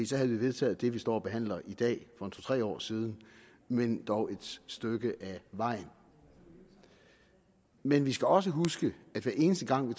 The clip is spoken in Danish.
så havde vi vedtaget det vi står og behandler i dag for tre år siden men dog et stykke af vejen men vi skal også huske at hver eneste gang vi